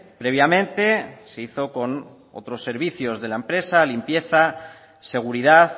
previamente se hizo con otros servicios de la empresa limpieza seguridad